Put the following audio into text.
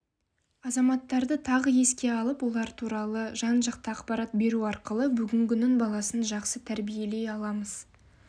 азаматтарды тағы еске алып олар туралы жан-жақты ақпарат беру арқылы бүгінгінің баласын жақсы тәрбиелей аламыз